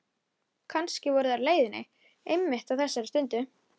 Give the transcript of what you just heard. Kannski voru þeir á leiðinni einmitt á þessari stundu.